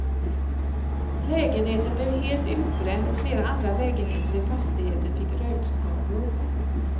Lägenheten blev helt utbränd och flera andra lägenheter i fastigheten fick rökskador.